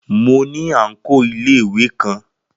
Mo ní àǹkóò iléèwé kan